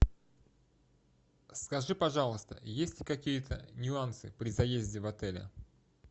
скажи пожалуйста есть ли какие то нюансы при заезде в отеле